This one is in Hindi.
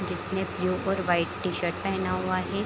जिसने ब्लू और वाइट टी-शर्ट पहना हुआ है।